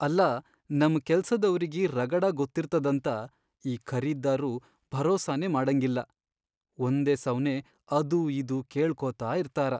ಅಲ್ಲಾ ನಮ್ ಕೆಲ್ಸದವ್ರಿಗಿ ರಗಡ ಗೊತ್ತಿರ್ತದಂತ ಈ ಖರೀದ್ದಾರ್ರು ಭರೋಸಾನೇ ಮಾಡಂಗಿಲ್ಲ, ಒಂದೇ ಸವ್ನೇ ಅದೂ ಇದೂ ಕೇಳ್ಕೋತ ಇರ್ತಾರ.